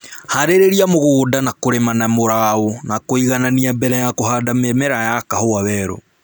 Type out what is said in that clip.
Harĩria mũgũnda na kũrĩma na mũrao na kũiganania mbere ya kũhanda mĩmera ya kahũa werũ